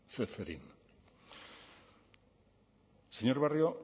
ceferin señor barrio